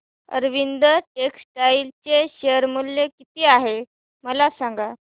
Arvind textile चे share मूल्य किती आहे मला सांगा